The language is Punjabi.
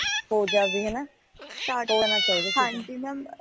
ਹੋ ਜਾਵੇਂ ਹੈ ਨਾ ਹੋ ਜਾਣਾ ਚਾਹੀਦਾ ਏਦਾਂ